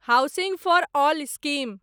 housing for all scheme